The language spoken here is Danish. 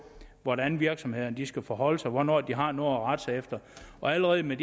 hvordan virksomhederne skal forholde sig hvornår de har noget at rette sig efter allerede med